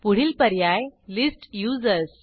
पुढील पर्याय list users